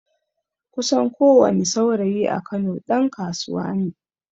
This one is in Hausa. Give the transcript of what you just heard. Kusan ko wani saurayi a kano ɗan kasuwa neh